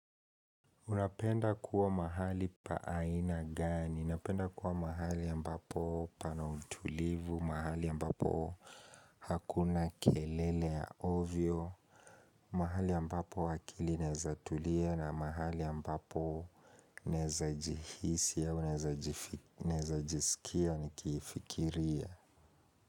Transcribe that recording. Unapenda kuwa mahali pa aina gani? Napenda kuwa mahali ambapo pana utulivu, mahali ambapo hakuna kelele ya ovyo, mahali ambapo akili inaweza tulia na mahali ambapo naweza jihisi, naweza jisikia ni kifikiria.